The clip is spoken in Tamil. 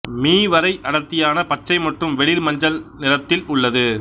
மீ வரை அடர்த்தியான பச்சை மற்றும் வெளிர் மஞ்சள் நிறத்தில் உள்ளது